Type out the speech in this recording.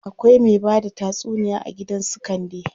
Akwai me bada tatsuniya a gidan su Kande.